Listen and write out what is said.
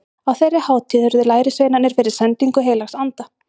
Á þeirri hátíð urðu lærisveinarnir fyrir sendingu heilags anda.